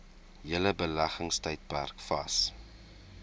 hele beleggingstydperk vas